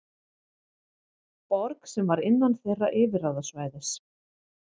Borg sem var innan þeirra yfirráðasvæðis.